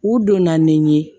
U donna ni n ye